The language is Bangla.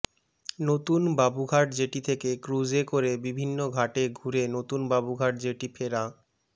নতুন বাবুঘাট জেটি থেকে ক্রুজে করে বিভিন্ন ঘাটে ঘুরে নতুন বাবুঘাট জেটি ফেরা